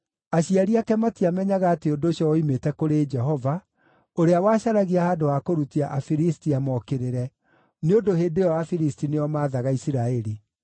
(Aciari ake matiamenyaga atĩ ũndũ ũcio woimĩte kũrĩ Jehova, ũrĩa wacaragia handũ ha kũrutia Afilisti amokĩrĩre, nĩ ũndũ hĩndĩ ĩyo Afilisti nĩo maathaga Isiraeli.)